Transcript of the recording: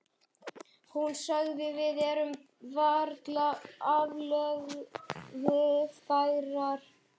Hún sagði: Við erum varla aflögufærar.